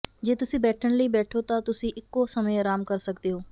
ਜੇ ਤੁਸੀਂ ਬੈਠਣ ਲਈ ਬੈਠੋ ਤਾਂ ਤੁਸੀਂ ਇਕੋ ਸਮੇਂ ਆਰਾਮ ਕਰ ਸਕਦੇ ਹੋ